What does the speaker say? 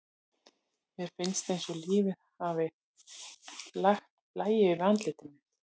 Mér finnst eins og lífið hafi lagt blæju yfir andlit sitt.